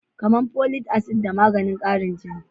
Kamar folic acid da maganin karin jini.